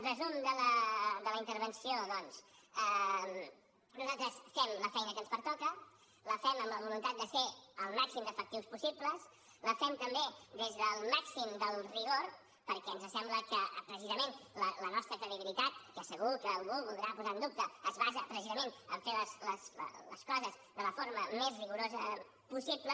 resum de la intervenció doncs nosaltres fem la feina que ens pertoca la fem amb la voluntat de ser el màxim d’efectius possible la fem també des del màxim del rigor perquè ens sembla que precisament la nostra credibilitat que segur que algú voldrà posar en dubte es basa precisament en fer les coses de la forma més rigorosa possible